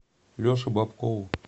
леше бобкову